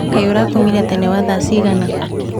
Kaĩ urakomire tene wa thaa cigana?